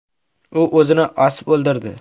U o‘zini osib o‘ldirdi.